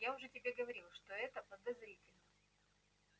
я уже тебе говорил что это подозрительно